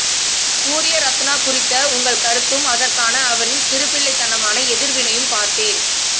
சூர்யரத்னா குறித்த உங்கள் கருத்தும் அதற்கான அவரின் சிறுபிள்ளைத்தனமான எதிர்வினையும் பார்த்தேன்